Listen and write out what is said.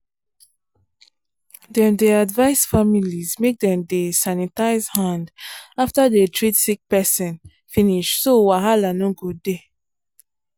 dem dey advise families make dem dey sanitize hand after dey treat sick persin finish so wahala no go dey